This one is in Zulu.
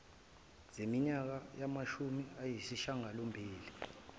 zeminyaka yamashumi ayisishiyangalombili